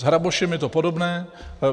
S hrabošem je to podobné.